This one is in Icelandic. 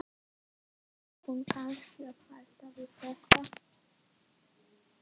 Ætti hún kannski að hætta við þetta?